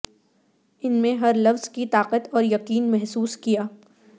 ان میں ہر لفظ کی طاقت اور یقین محسوس کیا